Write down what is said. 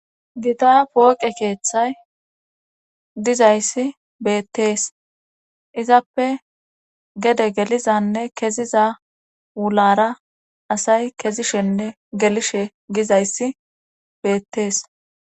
gita pooqe keeththay dizayssi beettees izappe gede gelizanne keziza wulara asay kezishenne gelishe gizayssi beettees